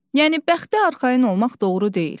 Yəni bəxtə arxayın olmaq doğru deyil.